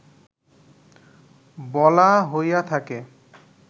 বলা হইয়া থাকে